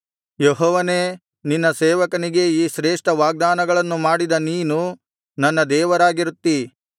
ಯೆಹೋವನೇ ನಿನ್ನ ಸೇವಕನಿಗೆ ಈ ಶ್ರೇಷ್ಠ ವಾಗ್ದಾನಗಳನ್ನು ಮಾಡಿದ ನೀನು ನನ್ನ ದೇವರಾಗಿರುತ್ತೀ